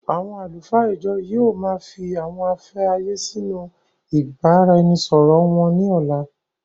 Àwọn àlùfáà ìjọ yìí ó má fii àwọn afẹ́ ayé sì inú ìbáraẹnisọọ̀rọ wón ní ọ̀la.